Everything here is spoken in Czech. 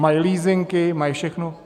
Mají leasingy, mají všechno.